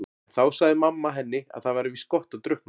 En þá sagði mamma henni að það væri víst gott að drukkna.